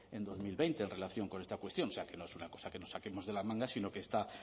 en dos mil veinte en relación con esta cuestión o sea que no es una cosa que nos saquemos de la manga sino que está